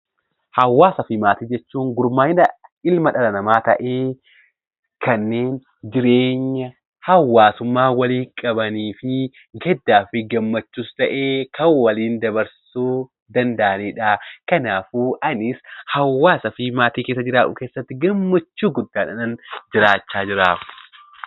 Hawaasaa fi maatii jechuun gurmaa'ina ilma dhala namaa tahee kanneen jireenya hawaasummaa walii qabaniifi gaddaafi gammachuus tahe Kan waliin dabarsuu danda'aniidha. Kanaafuu anis hawaasa fi maatii keessa jiraadhu keessatti gammachuu guddaadhaanin jiraachaa jira